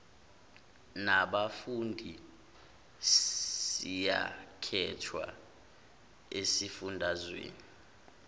nabafundi siyakhethwa ezifundazweni